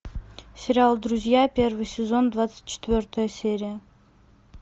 сериал друзья первый сезон двадцать четвертая серия